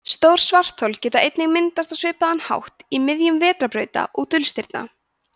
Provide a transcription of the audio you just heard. stór svarthol geta einnig myndast á svipaðan hátt í miðjum vetrarbrauta og dulstirna